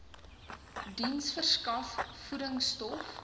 diens verskaf voedingstof